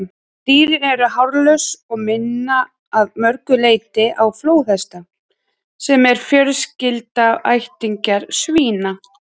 Dýrin eru hárlaus og minna að mörgu leyti á flóðhesta, sem eru fjarskyldir ættingjar svína.